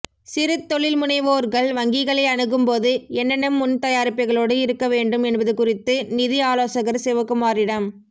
சிறுதொழில்முனைவோர்கள் வங்கிகளை அணுகும்போது என்னென்ன முன் தயாரிப்புகளோடு இருக்க வேண்டும் என்பது குறித்து நிதி ஆலோசகர் சிவகுமாரிடம்